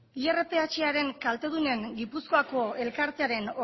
irpharen kaltedunen gipuzkoako elkartearen